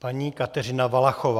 Paní Kateřina Valachová.